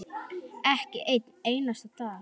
Ekki einn einasta dag.